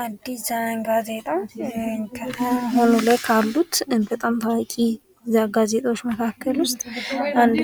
አዲስ ዘመን ጋዜጣ አሁን ላይ ከሉት በጣም ታዋቂ ጋዜጦች መካከል ውስጥ